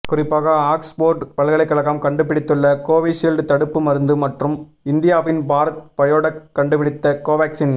குறிப்பாக ஆக்ஸ்போர்டு பல்கலைக்கழகம் கண்டுபிடித்துள்ள கோவிஷீல்டு தடுப்பு மருந்து மற்றும் இந்தியாவின் பாரத் பயோடெக் கண்டுபிடித்த கோவேக்சின்